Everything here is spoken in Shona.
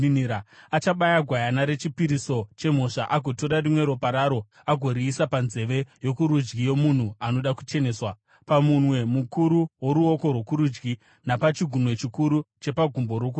Achabaya gwayana rechipiriso chemhosva agotora rimwe ropa raro agoriisa panzeve yokurudyi yomunhu anoda kucheneswa, pamunwe mukuru woruoko rwokurudyi napachigunwe chikuru chepagumbo rokurudyi.